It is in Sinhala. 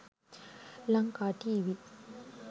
lankatv